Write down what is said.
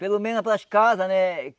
Pelo menos para as casas, né?